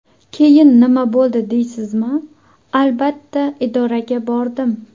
Keyin nima bo‘ldi deysizmi, albatta, idoraga bordim.